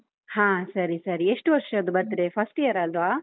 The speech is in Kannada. ಹಾ ಸರಿ ಸರಿ, ಎಷ್ಟು ವರ್ಷದ್ದು birthday first year ಅಲ್ವಾ?